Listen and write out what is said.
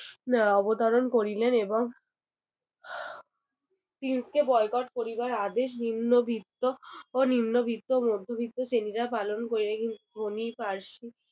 আহ অবতরণ করিলেন এবং prince কে boycott করিবার আদেশ নিম্নবিত্ত ও নিম্নবিত্ত ও মধ্যবিত্ত শ্রেণিরা পালন করিলেন কিন্তু ধনী ফার্সি